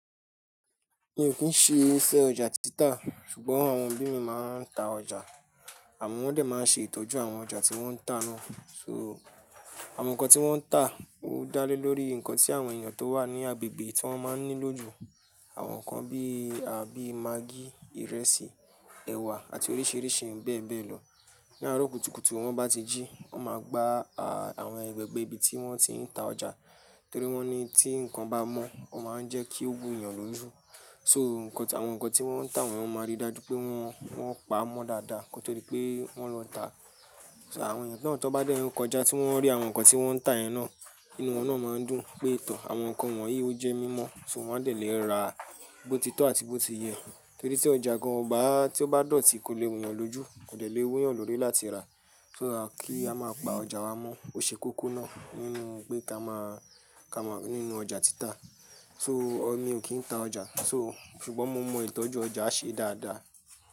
Mi ò kí ń ṣe iṣẹ́ ọjà títà, ṣùgbọ́n àwọn òbí mi máa ń ta ọjà, àmọ́ wọ́n dẹ̀ máa ń ṣe ìtọ́jú àwọn ọjà tí wọ́n ń tà náà. So, àwọn nǹkan tí wọ́n ń tà ó dá lé lórí nǹkan tí àwọn èèyàn tó wà ní agbègbè tí wọ́n máa ń ní lójú, àwọn nǹkan bí i, àbí magí, ìrẹsì, ẹ̀wà àti oríṣiríṣi bẹ́ẹ̀ bẹ́ẹ̀ lọ. Ni àárọ̀ kùtùkùtù wọn bá ti jí, wọ́n máa gbà a àwọn agbègbè ibi tí wọ́n ti ń ta ọjà, torí wọ́n ní tí nǹkan bá mọ́, ó máa ń jẹ́ kí ó wùn èèyàn lójú. So, àwọn nǹkan tí wọ́n ń tà wọ́n máa rí dájú pé wọ́n pa á mọ́ dáadáa ko to di pé wọ́n lọ tá. So, àwọn èèyàn tan tọ bá dẹ́ n kọjá tí wọ́n rí àwọn nǹkan tí wọ́n ń tà yẹn náà, inú wọn náà máa ń dùn pé, "Tọ̀, àwọn nǹkan wọ̀nyí ó jẹ mímọ́" so wọ́n dẹ̀ lè ra á bó ti tọ́ àti bó ti yẹ. Torí tí ọjà gan o ba tí ó bá dọ̀tí kò lè wùn yàn lójú, kó dẹ̀ le wu yàn lórí láti ràá. So that, kí a máa pa ọjà wa mọ́, ó ṣe kókó náà nínú pé ká máa, ká máa nínú ọjà títà. So, ọmi ò kí ń ta ọjà, so ṣùgbọ́n mo mọ ìtọ́jú ọjà ṣe dáadáa.